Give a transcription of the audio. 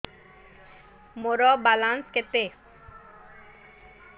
ମୋର ବାଲାନ୍ସ କେତେ